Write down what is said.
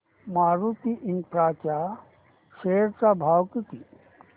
Maruti infra च्या share चा भाव किती